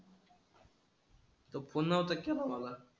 तो पुन्हा होता केला बाबा.